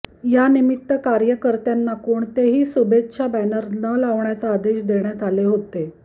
या निमित्त कार्यकर्त्यांना कोणतेही शुभेच्छा बॅनर न लावण्याचा आदेश देण्यात आले होते